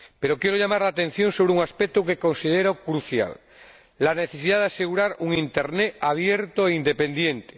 Pero quiero llamar la atención sobre un aspecto que considero crucial la necesidad de asegurar un internet abierto e independiente.